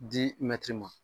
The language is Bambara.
ma.